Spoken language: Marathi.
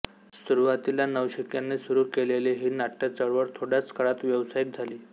सुरुवातीला नवशिक्यांनी सुरू केलेली ही नाट्य चळवळ थोड्याच काळात व्यावसायिक झाली